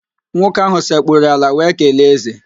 Nwoke ahụ sekpuru ala wee kelee ézè